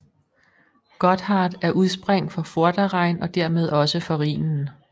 Gotthard er udspring for Vorderrhein og dermed også for Rhinen